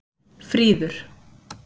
Fríður